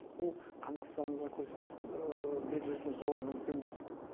бұл қандастарымызға көрсете берілетін зор мүмкіндік